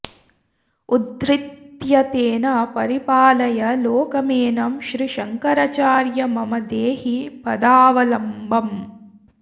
उद्धृत्य तेन परिपालय लोकमेनं श्रीशङ्करार्य मम देहि पदावलम्बम्